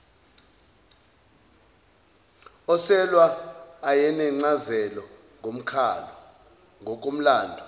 oselwa ayenencazelo ngokomlando